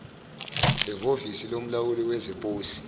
ehovisi lomlawuli wezeposi